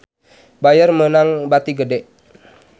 Bayer meunang bati gede